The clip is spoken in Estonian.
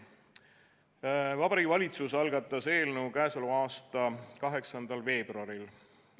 Vabariigi Valitsus algatas eelnõu k.a 8. veebruaril.